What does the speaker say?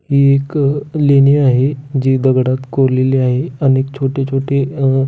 हि एक अ लेणी आहे जी दगडात कोरलेली आहे अनेक छोटे छोटे अ--